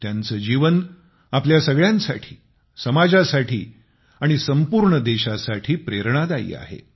त्यांचे जीवन आपल्या सगळ्यांसाठी समाजासाठी आणि संपूर्ण देशासाठी प्रेरणादायी आहे